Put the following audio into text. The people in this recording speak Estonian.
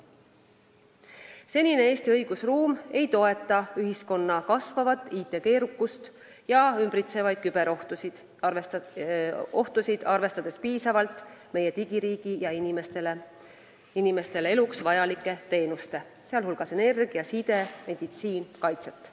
Senine Eesti õigusruum ei toeta ühiskonna kasvavat IT-keerukust, ei arvesta ümbritsevaid küberohtusid ega taga piisavalt meie digiriigi ja inimestele eluks vajalike teenuste – energia, side, meditsiin jms – kaitset.